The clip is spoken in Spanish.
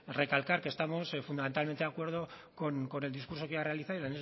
recalcar que estamos fundamentalmente de acuerdo con el discurso que ha realizado y